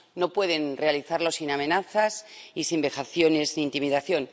No pueden realizarlo sin amenazas y sin vejaciones ni intimidación.